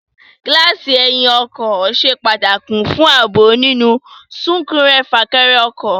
Gíláàsì ẹyìn ọkọ̀ ṣe pàtàkì fún ààbò nínú súnkẹrẹ- fàkẹrẹ ọkọ̀